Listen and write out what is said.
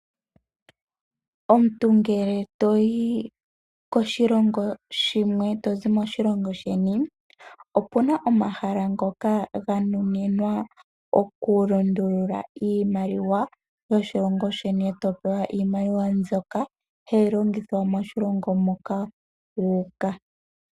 Omuntu ngele toyi koshilongo shimwe tozi moshilongo sheni, opuna omahala ngoka ga nuninwa oku lundulula iimaliwa yoshilongo sheni eto pewa iimaliwa mbyoka hayi longithwa moshilongo moka wa uka.